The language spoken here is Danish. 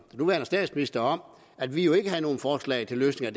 nuværende statsminister om at vi jo ikke havde nogen forslag til løsninger